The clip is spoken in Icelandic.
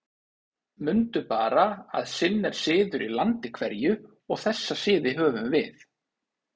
Mundu bara að sinn er siður í landi hverju, og þessa siði höfum við.